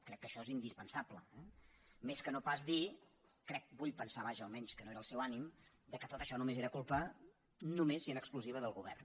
crec que això és indispensable eh més que no pas dir crec vull pensar vaja almenys que no era el seu ànim que tot això només era culpa només i en exclusiva del govern